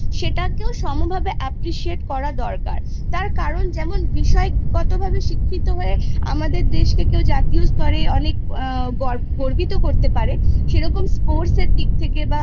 সেটাকেও সমভাবে Appreciate করা দরকার তার কারণ যেমন বিষয়গতভাবে শিক্ষিত হয়ে আমাদের দেশকে কেউ জাতীয় স্তরে অনেক আ গর্ব গর্বিত করতে পারে সেরকম Sports এর দিক থেকে বা